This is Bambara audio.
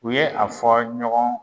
U yɛ a fɔ ɲɔgɔn